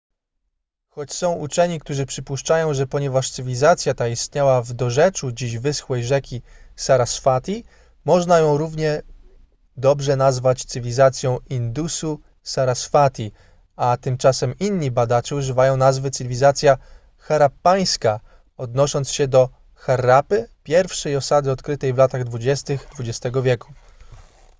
choć są uczeni którzy przypuszczają że ponieważ cywilizacja ta istniała w dorzeczu dziś wyschłej rzeki saraswati można ją równie dobrze nazywać cywilizacją indusu-saraswati a tymczasem inni badacze używają nazwy cywilizacja harappańska odnosząc się do harappy pierwszej osady odkrytej w latach 20 xx wieku